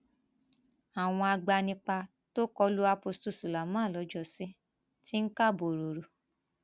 àwọn agbanipa tó kọ lu apostle suleman lọjọsí ti ń ká borọrọ